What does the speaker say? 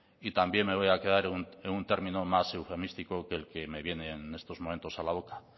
y también me voy a quedar en un término más eufemístico que el que me viene en estos momentos a la boca